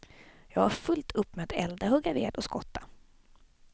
Jag har fullt upp med att elda, hugga ved och skotta.